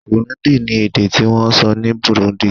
Kirundi ni èdè ti wón sọ ni Burundi